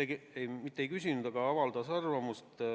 õigemini mitte ei küsinud, vaid avaldas arvamust.